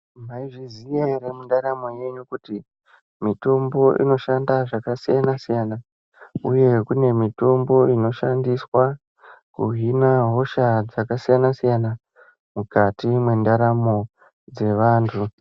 Mwaizviziya ere mundaramo yenyu kuti mitombo inoshanda zvakasiyana siyana uye kune mitombo inoshandiswa kuhina hosha dzakasiyana siyana mukati mwendaramu dzevantu.